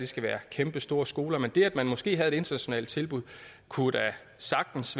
skal være kæmpestore skoler men det at man måske havde et internationalt tilbud kunne da sagtens